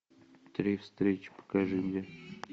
три встречи покажи мне